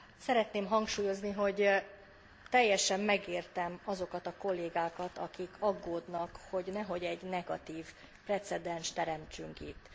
Szeretném hangsúlyozni, hogy teljesen megértem azokat a kollégákat, akik aggódnak, hogy nehogy egy negatív precedenst teremtsünk itt.